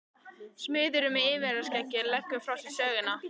Smiðurinn með yfirskeggið leggur frá sér sögina.